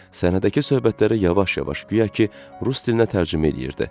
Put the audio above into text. Səhnədəki söhbətləri yavaş-yavaş, guya ki, rus dilinə tərcümə eləyirdi.